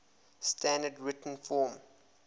standard written form